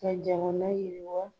Ka jamana yiriwa